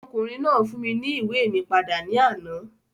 Ọmọkùnrin náà fún mi ní ìwé mi padà ní àná.